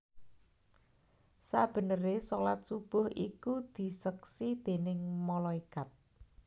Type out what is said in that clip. Sabeneré shalat subuh ikudiseksi déning malaikat